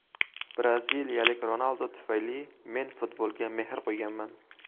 Braziliyalik Ronaldo tufayli men futbolga mehr qo‘yganman.